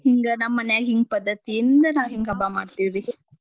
ಹಿಂಗ ನಮ್ಮನ್ಯಾಗ್ ಹಿಂಗ್ ಪದ್ದತಿಯಿಂದ ಹಿಂಗ್ ಹಬ್ಬಾ ಮಾಡ್ತೀವ್ರಿ.